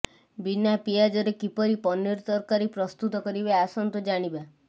ବିନା ପିଆଜରେ କିପରି ପନିର ତରକାରୀ ପ୍ରସ୍ତୁତ କରିବେ ଆସନ୍ତୁ ଜାଣିବା